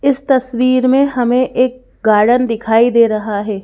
इस तस्वीर में हमें एक गार्डन दिखाई दे रहा है।